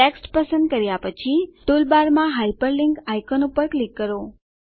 text પસંદ કર્યા પછી ટૂલબારમાં હાયપરલિંક આઈકોન પર ક્લિક કરો